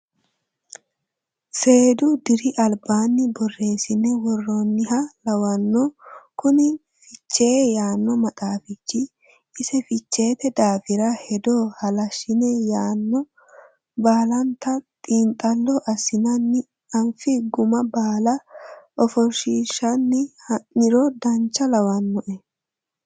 Seedu diri albaanni borreesine woroniha lawano kuni fichee yaano maxaafichi, ise ficheete daafira hedo halashine yanna baallanta xiinxallo assinanni anfi guma baalla ofoshishanni ha'niro dancha lawanoe.